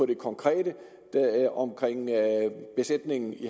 det konkrete omkring besætningen i